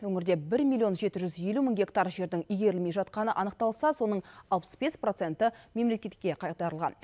өңірде бір миллион жеті жүз елу мың гектар жердің игерілмей жатқаны анықталса соның алпыс бес проценті мемлекетке қайтарылған